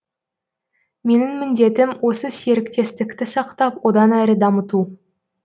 менің міндетім осы серіктестікті сақтап одан әрі дамыту